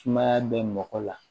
Sumaya bɛ mɔgɔ la